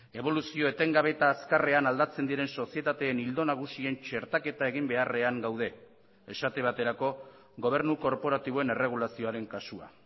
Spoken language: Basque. eboluzio etengabe eta azkarrean aldatzen diren sozietateen ildo nagusien txertaketa egin beharrean gaude esate baterako gobernu korporatiboen erregulazioaren kasua